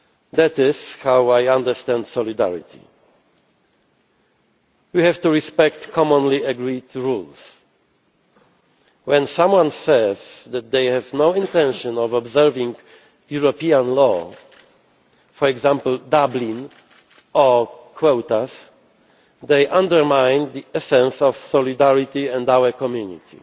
That is how I understand solidarity. We have to respect commonly agreed rules. When someone says that they have no intention of observing European law, for example the Dublin Regulation or quotas, they undermine the essence of solidarity and our community.